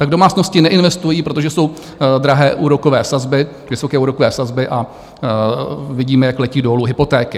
Tak domácnosti neinvestují, protože jsou drahé úrokové sazby, vysoké úrokové sazby, a vidíme, jak letí dolů hypotéky.